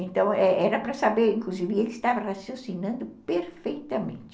Então, era era para saber, inclusive, ele estava raciocinando perfeitamente.